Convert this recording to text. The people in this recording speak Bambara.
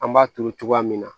An b'a turu cogoya min na